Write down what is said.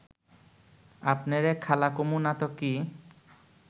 আপনেরে খালা কমু না ত কি